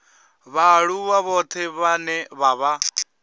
vhaaluwa vhoṱhe vhane vha vha